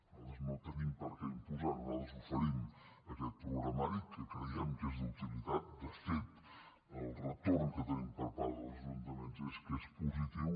nosaltres no tenim per què imposar nosaltres oferim aquest programari que creiem que és d’utilitat de fet el retorn que tenim per part dels ajuntaments és que és positiu